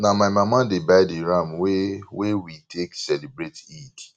na my mama dey buy di ram wey wey we take celebrate eid